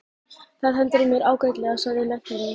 Það hentar mér ágætlega, sagði læknirinn.